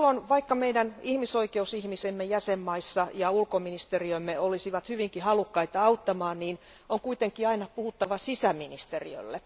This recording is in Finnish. Vaikka meidän ihmisoikeusihmisemme jäsenvaltioissa ja ulkoministeriömme olisivat hyvinkin halukkaita auttamaan, aina on kuitenkin puhuttava sisäministeriölle.